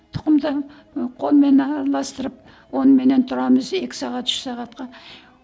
тұқымды ы қолмен араластырып оныменен тұрамыз екі сағат үш сағатқа